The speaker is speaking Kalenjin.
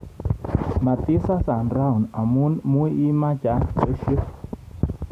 matisasa rauni amu muimecha pesio